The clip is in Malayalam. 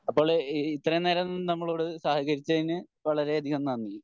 അപ്പോൾ ഇത്രേം നേരം നമ്മളോട് സഹകരിച്ചതിന് വളരേയധികം നന്ദി